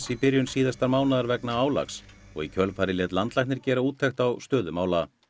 í byrjun síðasta mánaðar vegna álags og í kjölfarið lét landlæknir gera úttekt á stöðu mála